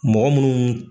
Mɔgɔ munnu